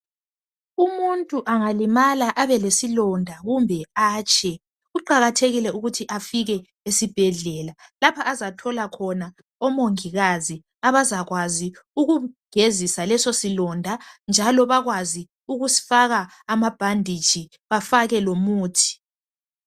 Umuntu angalimala abelesilonda kumbe atshe kuqakathekile ukuthi afike esibhedlela lapha azathola khona omongikazi abazakwazi ukumgezisa leso silonda njalo bakwazi ukusfaka amabhanditshi bafake lomuthi.